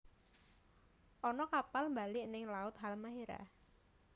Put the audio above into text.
Ono kapal mbalik ning laut Halmahera